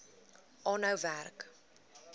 aanhou werk